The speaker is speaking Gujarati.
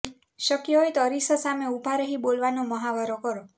શક્ય હોય તો અરીસા સામે ઉભા રહી બોલવાનો મહાવરો કરો